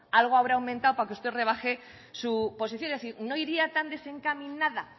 algo habrá aumentado para usted rebaje su posición es decir no iría tan desencaminada